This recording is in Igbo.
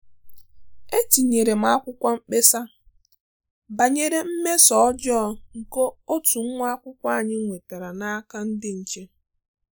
Etinyere m akwụkwọ mkpesa banyere mmeso ọjọọ nke otu nwa akwụkwọ anyị nwetara n'aka ndị nche